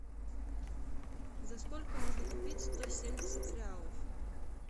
за сколько можно купить сто семьдесят реалов